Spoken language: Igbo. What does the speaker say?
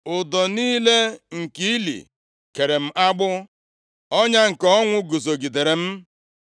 Ụdọ niile nke ili kere m agbụ, Ọnya nke ọnwụ guzogidere m.